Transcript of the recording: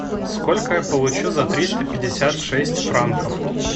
сколько я получу за триста пятьдесят шесть франков